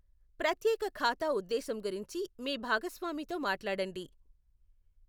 ప్రత్యేక ఖాతా ఉద్దేశ్యం గురించి మీ భాగస్వామితో మాట్లాడండి.